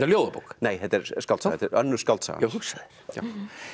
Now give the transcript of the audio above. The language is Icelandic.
ljóðabók nei þetta er skáldsaga önnur skáldsaga já hugsaðu þér